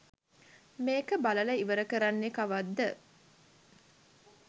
මේක බලලා ඉවර කරන්නේ කවද්ද